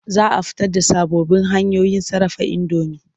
Za a fito da sababbin hanyoyin sarrafa indomi.